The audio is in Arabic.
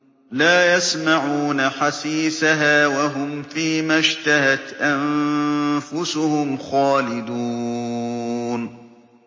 لَا يَسْمَعُونَ حَسِيسَهَا ۖ وَهُمْ فِي مَا اشْتَهَتْ أَنفُسُهُمْ خَالِدُونَ